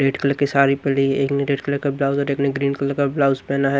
Red colour की साड़ी पड़ी है। एक ने रेड कलर का ब्लाउज और एक ने ग्रीन कलर का ब्लाउज पहना है।